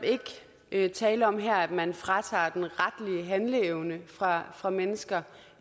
ikke tale om her at man fratager den retlige handleevne fra fra mennesker